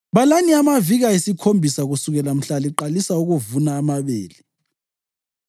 “Balani amaviki ayisikhombisa kusukela mhla liqalisa ukuvuna amabele.